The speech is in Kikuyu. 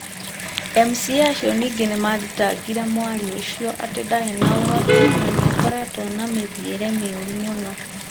MCA acio ningĩ nĩ mathitangĩrĩ mwaria ũcio atĩ ndarĩ na ũhoti na nĩ akoretwo na mĩthiĩre mĩũru mũno,